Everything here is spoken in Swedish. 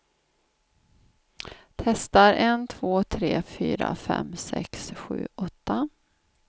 Testar en två tre fyra fem sex sju åtta.